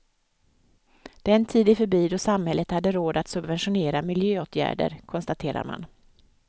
Den tid är förbi då samhället hade råd att subventionera miljöåtgärder, konstaterar man.